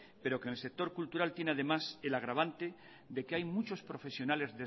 pero que en el sector cultural tiene además el agravante de que hay muchos profesionales